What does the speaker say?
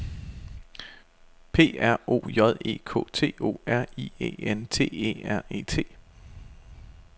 P R O J E K T O R I E N T E R E T